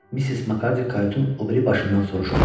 Missis Makardi kayutun o biri başından soruşdu.